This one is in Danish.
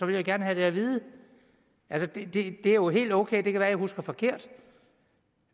vil jeg gerne have det at vide det er jo helt okay det kan være at jeg husker forkert